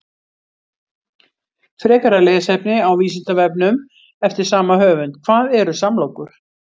Frekara lesefni á Vísindavefnum eftir sama höfund: Hvað eru samlokur?